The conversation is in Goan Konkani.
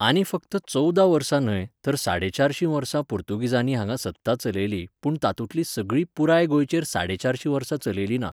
आनी फक्त चवदा वर्सां न्हय तर साडे चारशीं वर्सां पुर्तूगीजानी हांगा सत्ता चलयली पुण तातूंतली सगळी पुराय गोंयचेर साडे चारशीं वर्सां चलयली ना